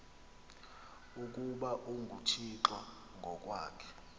ukuba unguthixo ngokwakhe